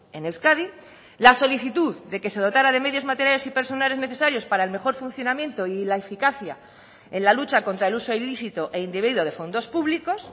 en euskadi la solicitud de que se dotara de medios materiales y personales necesarios para el mejor funcionamiento y la eficacia en la lucha contra el uso ilícito e indebido de fondos públicos